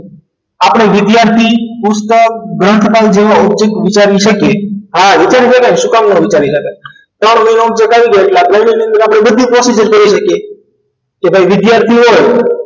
આપણે વિદ્યાર્થી પુસ્તક ગ્રંથ જેવા object વિચારી શકીએ આ વિચારી શકાય શું કામ ના વિચારી શકાય ત્રણ મહિનામાં જકાઈ શકાય એટલે આપણે તેની અંદર બધી જ procedure કરી શકીએ કે ભાઈ વિદ્યાર્થી હોય